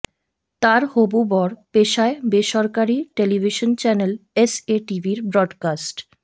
তার হবু বর পেশায় বেসরকারি টেলিভিশন চ্যানেল এসএ টিভির ব্রডকাস্ট